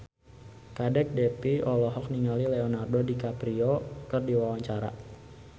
Kadek Devi olohok ningali Leonardo DiCaprio keur diwawancara